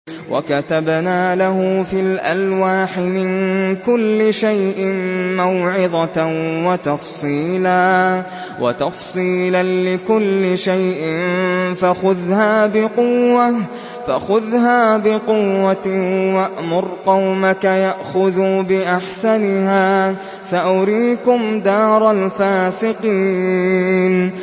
وَكَتَبْنَا لَهُ فِي الْأَلْوَاحِ مِن كُلِّ شَيْءٍ مَّوْعِظَةً وَتَفْصِيلًا لِّكُلِّ شَيْءٍ فَخُذْهَا بِقُوَّةٍ وَأْمُرْ قَوْمَكَ يَأْخُذُوا بِأَحْسَنِهَا ۚ سَأُرِيكُمْ دَارَ الْفَاسِقِينَ